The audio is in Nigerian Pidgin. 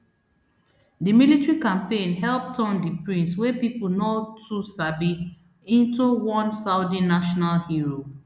di military campaign help turn di prince wey pipo no too sabi into one saudi national hero